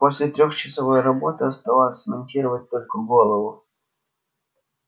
после трехчасовой работы оставалось смонтировать только голову